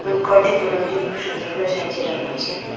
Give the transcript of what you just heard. কয়টি বেলুন দিয়ে খুব সুন্দর করে সাজিয়ে রাখা আছে।